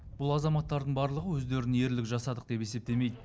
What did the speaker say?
бұл азаматтардың барлығы өздерін ерлік жасадық деп есептемейді